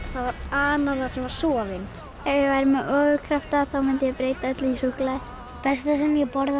það var ananas sem var soðinn ef ég væri með ofurkrafta þá mundi ég breyta öllu í súkkulaði besta sem ég borða